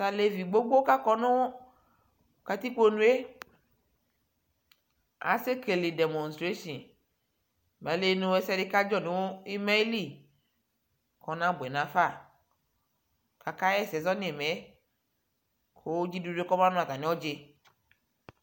Talevi gbogbo kakɔ nu katikponue asekele demonstration ayilie nɛsɛdi kaɖʒɔ nutieli kɔadawlia kaɣɛsɛ zɔ Ninaɛ ku ɖʒiɖuɖue kɔma nu ata'iyɖʒi